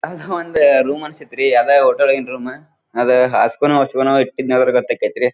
ಅದು ಒಂದು ರೂಮ್ ಅನ್ಸತ್ತೆ ರೀ ಅದ ಹೋಟೆಲ್ ಒಳಗಿನ ರೂಮ್ ಅದೇ ಹಸ್ಗೊಳವು ಹೊತ್ಗೊಳವು ಇತ್ತಿದ್ನಿ ಅದರ ತಕ ಐತಿ ರೀ.